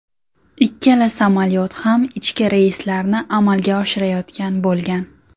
Ikkala samolyot ham ichki reyslarni amalga oshirayotgan bo‘lgan.